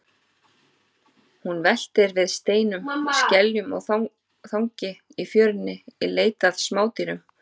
Hún veltir við steinum, skeljum og þangi í fjörunni í leit að smádýrum.